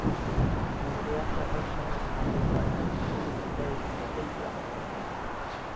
Nú er ég ekki að hugsa um að þú farir eftir mínum leiðum og vilja.